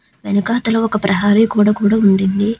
వెనకాతల ఒక ప్రహరీ గోడ కూడా ఉన్నింది.